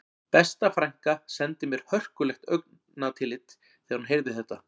Besta frænka sendi mér hörkulegt augnatillit þegar hún heyrði þetta